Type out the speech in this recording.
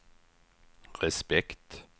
respekt